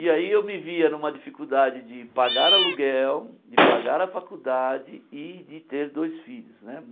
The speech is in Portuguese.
E aí eu me via numa dificuldade de pagar aluguel, de pagar a faculdade e de ter dois filhos né.